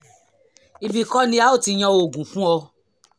ibi kọ́ ni a ó ti yan oògùn fún ọ